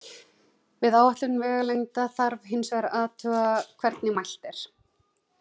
Við áætlun vegalengda þarf hins vegar að athuga hvernig mælt er.